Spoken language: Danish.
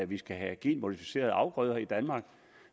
vi skal have genmodificerede afgrøder i danmark